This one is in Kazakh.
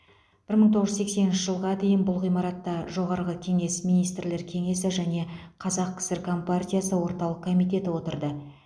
бір мың тоғыз жүз сексенінші жылға дейін бұл ғимаратта жоғарғы кеңес министрлер кеңесі және қазақ кср компартиясы орталық комитеті отырды